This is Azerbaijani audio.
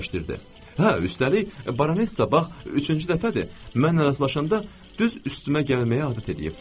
Hə, üstəlik Baronesa bax üçüncü dəfədir, mənimlə rastlaşanda düz üstümə gəlməyə həvəs eləyib.